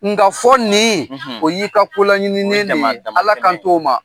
Nka fɔ nin; O y'i ka kolanɲininen de ye; Dama dama tɛmɛn; Ala kan t' o ma.